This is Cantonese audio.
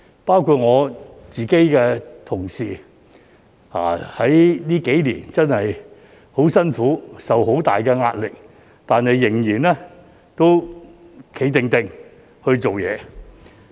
包括我的同事在這幾年間真的很辛苦，受很大壓力，但仍然"企定定"的工作。